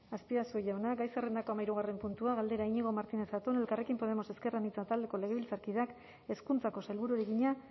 azpiazu jauna gai zerrendako hamahirugarren puntua galdera iñigo martínez zatón elkarrekin podemos ezker anitza taldeko legebiltzarkideak hezkuntzako sailburuari egina